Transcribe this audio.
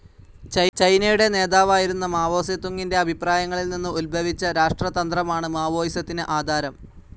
ചൈനയുടെ നേതാവായിരുന്ന മാവോ സെതൂങ്ങിന്റെ അഭിപ്രായങ്ങളിൽ നിന്ന് ഉദ്ഭവിച്ച രാഷ്ട്രതന്ത്രമാണ് മാവോയിസത്തിന് ആധാരം.